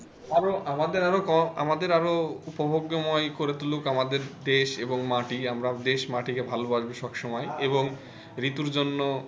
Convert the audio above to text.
আরো আমাদের আরো আমাদের আরও উপভোগ্যময়ী করে তুলুক আমাদের দেশ এবং মাটি আমরা দেশ মাটিকে ভালোবাসবো সব সময় এবং ঋতুর জন্য,